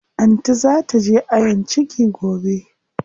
Anty zaa taje ayon ciki gobe.